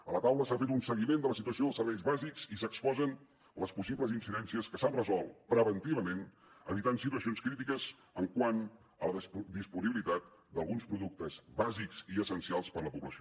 a la taula s’ha fet un seguiment de la situació dels serveis bàsics i s’exposen les possibles incidències que s’han resolt preventivament evitant situacions crítiques quant a la disponibilitat d’alguns productes bàsics i essencials per a la població